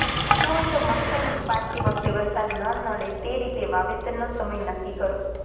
શકય હોય તો મગફળી ઉપાડતી વખતે વરસાદ ન નડે તે રીતે વાવેતરનો સમય નકકી કરો